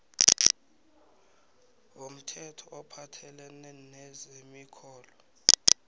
womthetho ophathelene nezemirholo